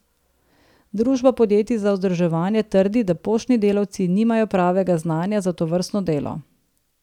Družba podjetij za vzdrževanje trdi, da poštni delavci nimajo pravega znanja za tovrstno delo.